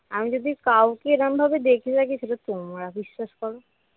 আমি যদি কাউকে এরকমভাবে দেখে থাকি সেটা হল তোমরা বিশ্বাস করো